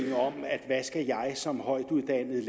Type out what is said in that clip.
som højtuddannede